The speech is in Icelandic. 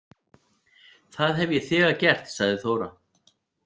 Það hef ég þegar gert, sagði Þóra.